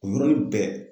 O yɔrɔnin bɛɛ